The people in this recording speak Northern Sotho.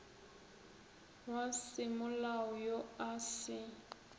wa semolao yo a se